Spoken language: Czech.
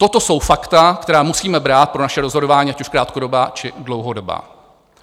Toto jsou fakta, která musíme brát pro naše rozhodování, ať už krátkodobá, či dlouhodobá.